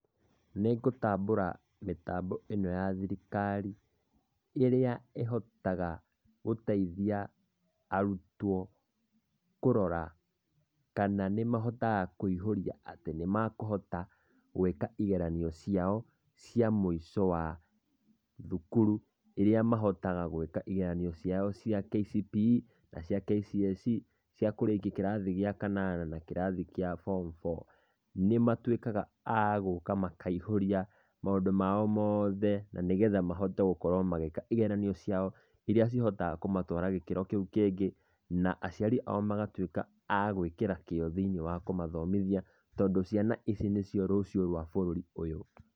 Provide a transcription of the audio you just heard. Nĩ ngũtambũra mĩtambo ĩno ya thirikari ĩrĩa ĩhotaga gũteithia arutwo kũrora kana nĩmahotaga kũihũria atĩ nĩ makũhota gwĩka igeranio ciao cia mũico wa thukuru irĩa mahotaga gwĩka igeranio ciao cia KCPE na cia KCSE cia kũrĩkia kĩrathi gĩa kanana na kĩrathi gĩ form four. Nĩ matuĩkaga a gũũka makaihũria maũndũ mao mothe na nĩ getha mahote gũkorwo magĩka igeranio ciao irĩa cihotaga kũmatwara gĩkĩro kĩu kĩngĩ na aciari ao magatuĩka a gwĩkĩra kĩo thĩini wa kũmathomithia tondũ ciana ici nĩcio rũciũ rwa bũrũri ũyũ.